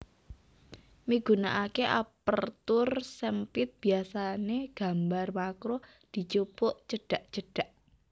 Migunakaké Aperture SempitBiasané gambar makro dijupuk cedhak cedhak